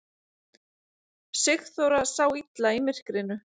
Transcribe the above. Sigþóra sá illa í myrkrinu.